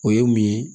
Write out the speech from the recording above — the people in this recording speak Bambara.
O ye mun ye